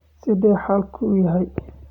Sidee xaalku yahay?